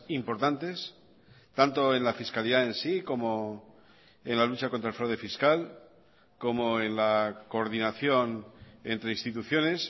importantes tanto en la fiscalidad en sí como en la lucha contra el fraude fiscal como en la coordinación entre instituciones